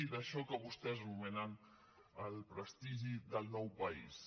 d’això que vostès anomenen el prestigi del nou país